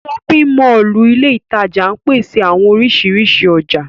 Ṣọpin Mọllu ile itaja ńpese awọn orisirisi ọja.